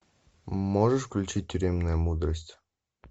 можешь включить тюремная мудрость